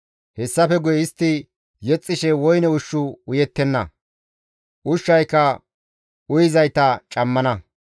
Hayssafe guye istti yexxishe woyne ushshu uyettenna; ushshayka uyizayta cammana.